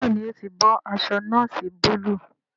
Béèni o tí bó aṣọ noosi Búlúù.